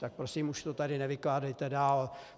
Tak prosím, už to tady nevykládejte dál.